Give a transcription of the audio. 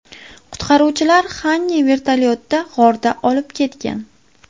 Qutqaruvchilar Xanni vertolyotda g‘ordan olib ketgan.